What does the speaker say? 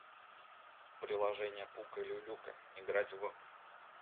приложение пука люлюка играть в